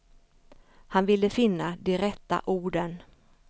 Han ville finna de rätta orden.